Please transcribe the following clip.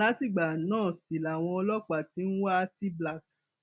látìgbà náà sì làwọn ọlọpàá ti ń wa tblak